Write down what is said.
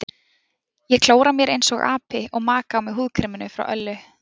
Ég klóra mér einsog api og maka á mig húðkreminu frá Öllu.